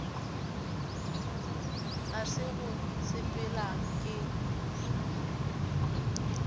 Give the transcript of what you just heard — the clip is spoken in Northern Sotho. ga se go sepela ke